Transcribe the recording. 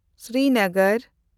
Srinagar